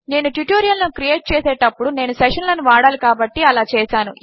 నేను ట్యుటోరియల్ లను క్రియేట్ చేసేటప్పుడు నేను సెషన్ లను వాడాలి కాబట్టి అలా చేసాను